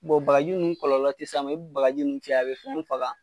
bagaji ninnu kɔlɔlɔ te s'a ma, i be bagaji ninnu cɛ a bɛ fɛn faga